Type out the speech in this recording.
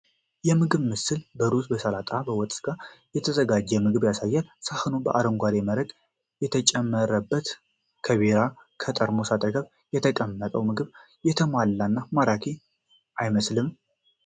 የምግብ ምስል በሩዝ፣ በሰላጣና በወጥ ስጋ የተዘጋጀውን ምግብ ያሳያል፤ ሳህኑ በአረንጓዴ መረቅ የተጨመረበት እና ከቢራ ጠርሙስ አጠገብ የተቀመጠው ምግቡ የተሟላና ማራኪ አይመስልም?